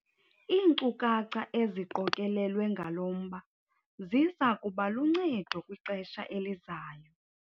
Iinkcukacha eziqokelelwe ngalo mba ziza kuba luncedo kwixesha elizayo.